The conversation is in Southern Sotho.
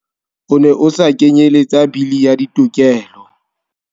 O ne o sa kenyeletsa Bili ya Ditokelo.